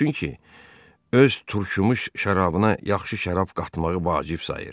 Çünki öz turşumuş şərabına yaxşı şərab qatmağı vacib sayır.